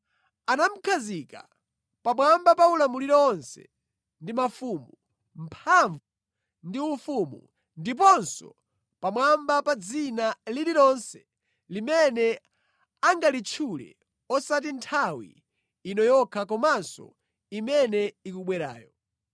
Anamukhazika pamwamba pa ulamuliro onse ndi mafumu, mphamvu ndi ufumu, ndiponso pamwamba pa dzina lililonse limene angalitchule, osati nthawi ino yokha komanso imene ikubwerayo.